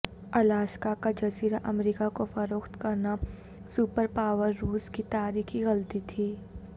Alaska کا جزیرہ امریکہ کو فروخت کرنا سپر پاور روس کی تاریخی غلطی تھی